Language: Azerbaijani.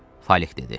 Falik dedi.